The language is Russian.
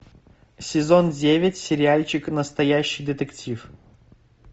сезон девять сериальчик настоящий детектив